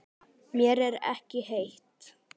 Mér er ekki heitt.